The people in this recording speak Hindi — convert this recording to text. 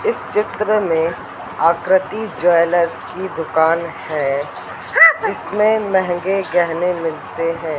इस चित्र में आकृति ज्वेलर्स की दुकान है इसमें महंगे गहने मिलते हैं।